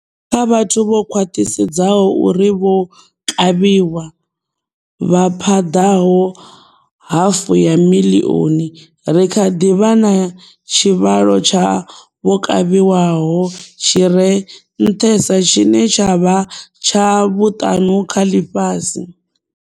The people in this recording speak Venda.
Kha vhathu vho khwaṱhisedzwaho uri vho kavhiwa, vha phaḓaho hafu ya miḽioni, ri kha ḓi vha na tshivhalo tsha vho kavhiwa ho tshi re nṱhesa tshine tsha vha tsha vhuṱanu kha ḽifhasi.